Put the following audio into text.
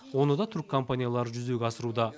оны да түрік компаниялары жүзеге асыруда